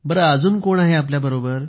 अजून कोण आहे आपल्या बरोबर